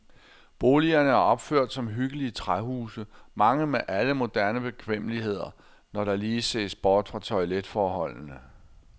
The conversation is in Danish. Boligerne er opført som hyggelige træhuse, mange med alle moderne bekvemmeligheder, når der lige ses bort fra toiletforholdene.